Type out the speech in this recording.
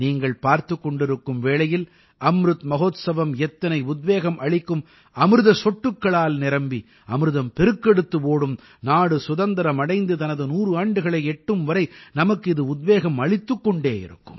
நீங்கள் பார்த்துக் கொண்டிருக்கும் வேளையில் அம்ருத் மஹோத்சவம் எத்தனை உத்வேகம் அளிக்கும் அமிர்தச் சொட்டுக்களால் நிரம்பி அமிர்தம் பெருக்கெடுத்து ஓடும் நாடு சுதந்திரம் அடைந்து தனது 100 ஆண்டுகளை எட்டும்வரை நமக்கு இது உத்வேகம் அளித்துக் கொண்டே இருக்கும்